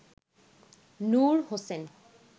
Nur Hossain